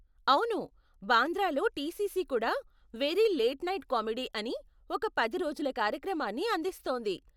అవును, బాంద్రాలో టీసీసీ కూడా 'వెరీ లేట్ నైట్ కామెడీ' అని ఒక పది రోజుల కార్యక్రమాన్ని అందిస్తోంది.